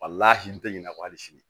n tɛ ɲina ko hali sini